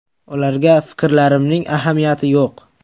Ularga fikrlarimning ahamiyati yo‘q.